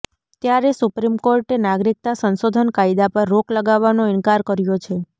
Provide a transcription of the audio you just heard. ત્યારે સુપ્રીમ કોર્ટે નાગરિકતા સંશોધન કાયદા પર રોક લગાવવાનો ઈનકાર કર્યો છે